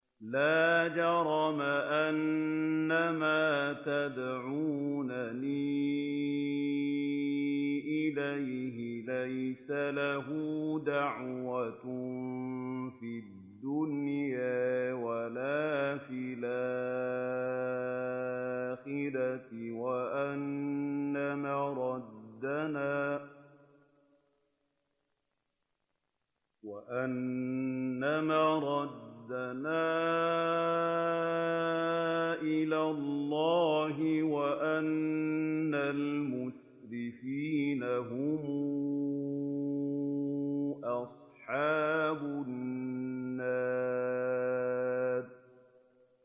لَا جَرَمَ أَنَّمَا تَدْعُونَنِي إِلَيْهِ لَيْسَ لَهُ دَعْوَةٌ فِي الدُّنْيَا وَلَا فِي الْآخِرَةِ وَأَنَّ مَرَدَّنَا إِلَى اللَّهِ وَأَنَّ الْمُسْرِفِينَ هُمْ أَصْحَابُ النَّارِ